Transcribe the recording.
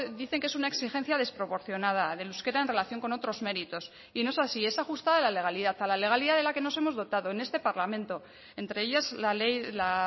dicen que es una exigencia desproporcionada del euskera en relación con otros méritos y no es así es ajustada a la legalidad a la legalidad de la que nos hemos dotado en este parlamento entre ellas la ley la